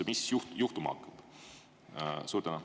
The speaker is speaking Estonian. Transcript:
Mis siis juhtuma hakkab?